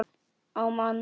á mann.